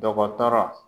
Dɔgɔtɔrɔ